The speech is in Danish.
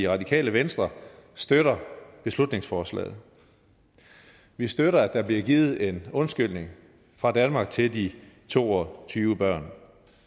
radikale venstre støtter beslutningsforslaget vi støtter at der bliver givet en undskyldning fra danmark til de to og tyve børn